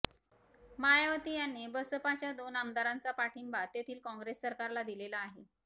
मायावती यांनी बसपाच्या दोन आमदारांचा पाठिंबा तेथील काँग्रेस सरकारला दिलेला आहे